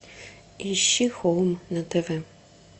ищи хоум на тв